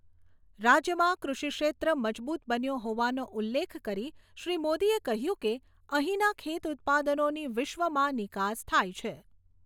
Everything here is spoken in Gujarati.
રાજ્યમાં કૃષિ ક્ષેત્ર મજબૂત બન્યો હોવાનો ઉલ્લેખ કરી શ્રી મોદીએ કહ્યું કે, અહીંના ખેત ઉત્પાદનોની વિશ્વમાં નિકાસ થાય છે.